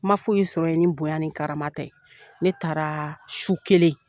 Ma foyi sɔrɔ ye ni bonya ni karama tɛ, ne taara su kelen